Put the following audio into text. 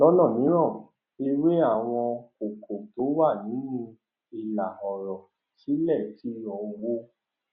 lọnà mìíràn ẹwẹ àwọn kókó tó wà nínú ìlà ọrọ sílè ti owó